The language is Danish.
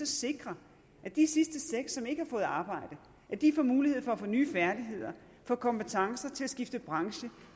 sikre at de sidste seks som ikke har fået arbejde får mulighed for at få nye færdigheder får kompetencer til at skifte branche